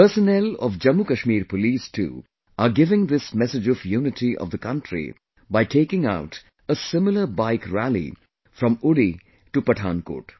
Personnel of Jammu Kashmir police too are giving this message of unity of the country by taking out a similar Bike Rally from Uri to Pathankot